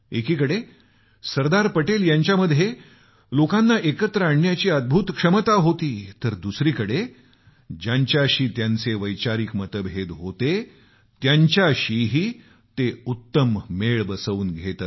एकीकडे सरदार पटेल यांच्यामध्ये लोकांना एकत्र आणण्याची अद्भुत क्षमता होती तर दुसरीकडे ज्यांच्याशी त्यांचे वैचारिक मतभेद होते त्यांच्याशीही ते उत्तम मेळ बसवून घेत